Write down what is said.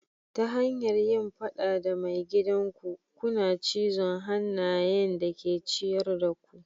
Ta hanyar yin fada da maigidan ku, kuna cizon hannayen da ke ciyar da ku.